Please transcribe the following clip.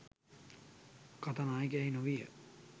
කතා නායකයා එහි නොවීය.